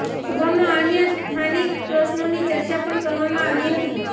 સભામાં અન્ય સ્થાનિક પ્રશ્નોની ચર્ચા પણ કરવામાં આવી હતી